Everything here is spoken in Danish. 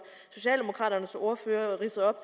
socialdemokraternes ordfører ridsede op